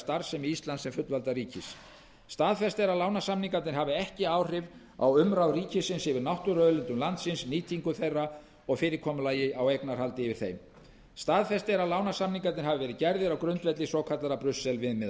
starfsemi íslands sem fullvalda ríkis staðfest er að lánasamningarnir hafi ekki áhrif á umráð ríkisins yfir náttúruauðlindum landsins nýtingu á þeim og fyrirkomulag á eignarhaldi yfir þeim staðfestur er að lánasamningarnir hafi verið gerðir á grundvelli svokallaðra brussel viðmiðana